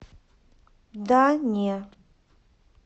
да не